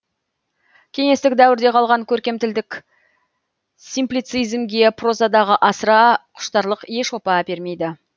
кеңестік дәуірден қалған көркем тілдік симплицизмге прозадағы асыра құштарлық еш опа әпермейді